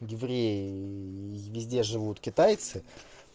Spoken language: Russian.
евреи везде живут китайцы